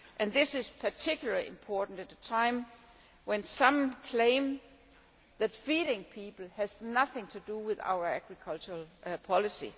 This is particularly important at a time when some claim that feeding people has nothing to do with our agriculture policy.